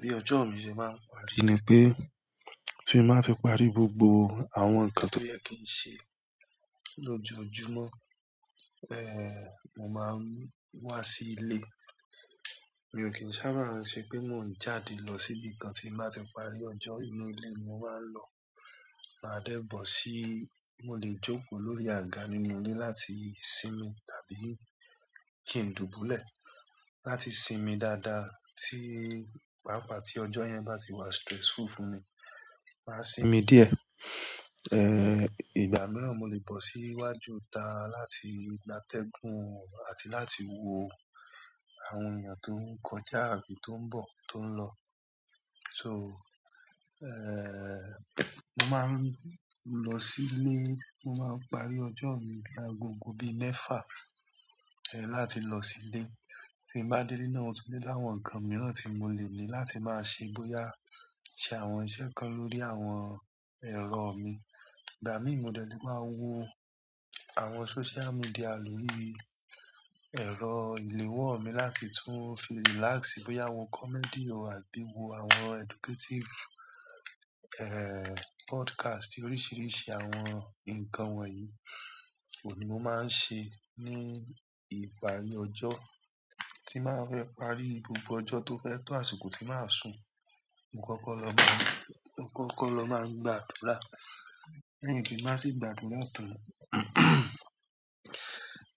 Bí ọjọ́ mi ṣe máa ń parí ni pé tí mo bá ti parí gbogbo àwọn nǹkan tó yẹ kí n ṣe lójoojúmọ́, mo máa ń wá sí ilé. Mi ò kí n sábà rántí pé mò ń jáde lọ síbi kan tí mo bá ti parí ọjọ́. Inú ilé ni mo máa ń lọ. Maa dẹ́ bọ̀ sí, mo lè jókòó lórí àga nínú ilé láti sinmi tàbí kí ń dùbúlẹ̀. Láti sinmi dáadáa tí pàápàá tí ọjọ́ yẹn bá ti wá stressful fún mi, màá sinmi díẹ̀. Ìgbà mìíràn mo lè bọ̀ sí iwájú ita láti gba atẹ́gùn àti láti wo àwọn ènìyàn tó ń kọjá àbí tó ń bọ̀, tó ń lọ. So, mo máa ń lọ sí ilé, mo máa ń parí ọjọ́ mi lágogo bí mẹ́fà, láti lọ sí ilé. Tí mo bá dé ilé náà o tún tí le láwọn nǹkan mìíràn tí mo lè ní láti máa ṣe bóyá ṣe àwọn iṣẹ́ kan lórí àwọn ẹ̀rọ mi. Ìgbà mìí mo dẹ̀ lé maá wo àwọn social media lórí ẹ̀rọ ìléwọ́ mi láti tún fi relax, bóyá wo comedy àbí wo àwọn educative, podcast oríṣìíríṣìí àwọn nǹkan wọ̀nyí. Oun ní mo máa ń ṣe ní ìparí ọjọ́. Tí màá fi parí gbogbo ọjọ́ tó fẹ́ tó àsìkò tí màá sùn. Mo kọ́kọ́ lọ máa ń, mo kọ́kọ́ lọ máa ń gbàdúrà. Lẹ́yìn tí n bàá sì gbàdúrà tán,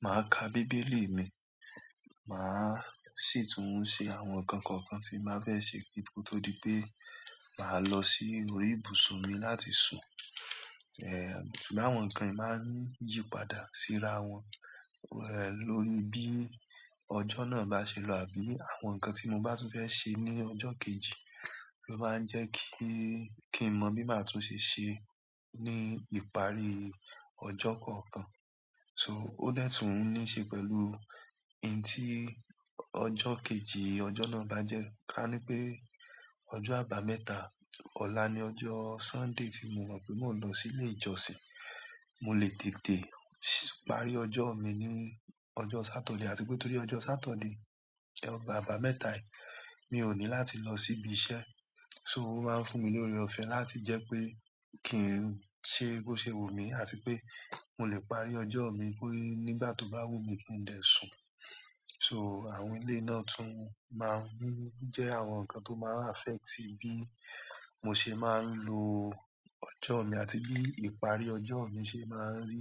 màá ka Bíbélì mi, màá sì tún ṣe àwọn nǹkan kọ̀ọ̀kan tí n bàá fẹ́ ṣe kí tó di pé màá lọ sí orí ibùsùn mi láti sùn. Ṣùgbọ́n àwọn nkan yi maa n yípadà si rawon lórí bíi ojo náà ba se lo àbí àwọn nkan ti mo ba tun fe se ni ojo kejì lo maa n je ki n mo bi ma tun se se ni ìparí ojo kọ̀ọ̀kan. So ó dè tún níṣe pẹ̀lú iun tí ọjọ́ kejì ọjọ́ náà bá jẹ́. Ka ni pe ojo àbámẹ́ta, ola ni ojo sunday ti mo mo pe mo n lo si ile ìjọsìn mo le tètè parí ojo mi ni ojo Saturday, àti pe torí ojo Saturday àbámẹ́ta mio ni láti lo si ibi iṣẹ́. So ó máa ń fún mi lóre ọ̀fẹ́ láti jẹ́ pé kí ń ṣe boṣé wu mí àti pé mo lè parí ọjọ́ mi nígbà tó bá wù mí kí ń dè sùn. So àwọn eléyii náà tún máa ń jẹ́ àwọn nǹkan tó máa ń affect bí mo ṣe máa ń lo ọjọ́ mi àti bí ìparí ọjọ́ mi ṣe máa ń rí.